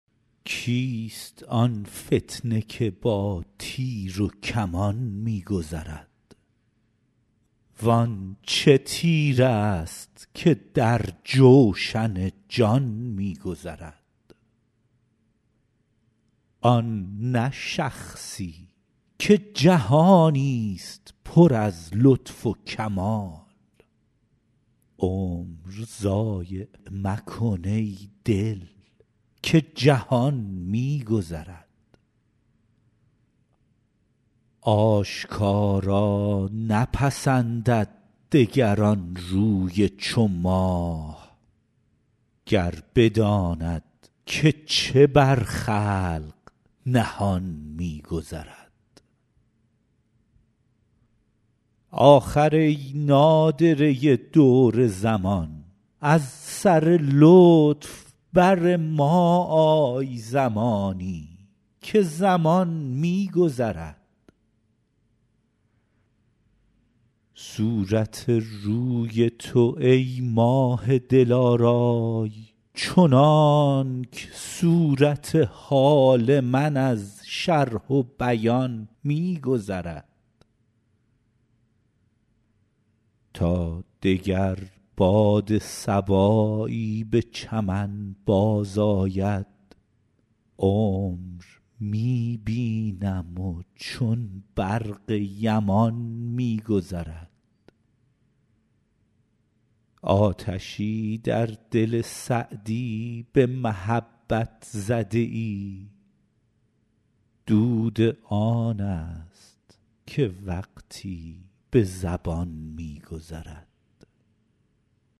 کیست آن فتنه که با تیر و کمان می گذرد وان چه تیرست که در جوشن جان می گذرد آن نه شخصی که جهانی ست پر از لطف و کمال عمر ضایع مکن ای دل که جهان می گذرد آشکارا نپسندد دگر آن روی چو ماه گر بداند که چه بر خلق نهان می گذرد آخر ای نادره دور زمان از سر لطف بر ما آی زمانی که زمان می گذرد صورت روی تو ای ماه دلارای چنانک صورت حال من از شرح و بیان می گذرد تا دگر باد صبایی به چمن بازآید عمر می بینم و چون برق یمان می گذرد آتشی در دل سعدی به محبت زده ای دود آن ست که وقتی به زبان می گذرد